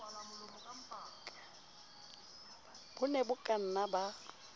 bo ne bo kanna ba